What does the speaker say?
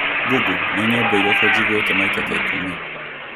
Google nĩ nyĩmbo irĩkũ njiguĩte maita ta ikũmi